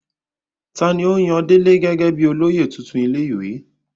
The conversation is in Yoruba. ta ni ó yan délé gẹ́gẹ́ bíi olóyè tuntun ilé ìwé?